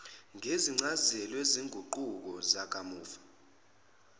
ngencazelo yezinguquko zakamuva